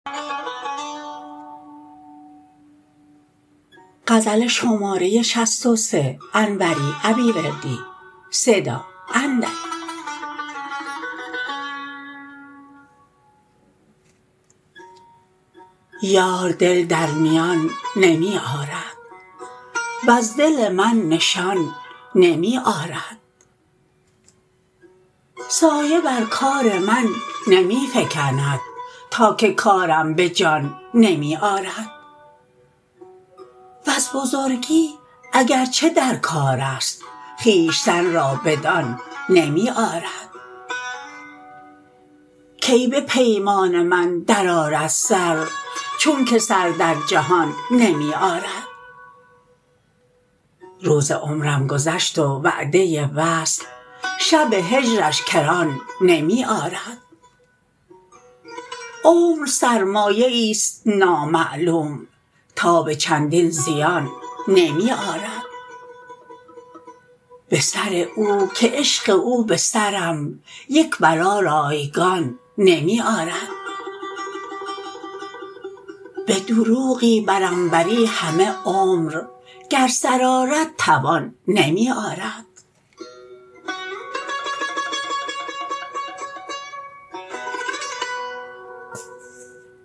یار دل در میان نمی آرد وز دل من نشان نمی آرد سایه بر کار من نمی فکند تا که کارم به جان نمی آرد وز بزرگی اگرچه در کارست خویشتن را بدان نمی آرد کی به پیمان من درآرد سر چون که سر در جهان نمی آرد روز عمرم گذشت و وعده وصل شب هجرش کران نمی آرد عمر سرمایه ایست نامعلوم تاب چندین زیان نمی آرد به سر او که عشق او به سرم یک بلا رایگان نمی آرد به دروغی بر انوری همه عمر گر سر آرد توان نمی آرد